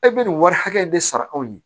E bɛ nin wari hakɛ in de sara anw ye